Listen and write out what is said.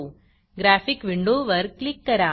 graphic विंडोवर click करा